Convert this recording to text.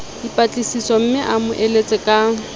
dipatlisisomme a mo eletse ka